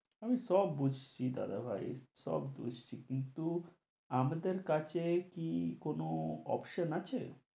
আমি সব বুঝছি দাদাভাই, সব বুঝছি। কিন্তু আমাদের কাছে কি কোন option আছে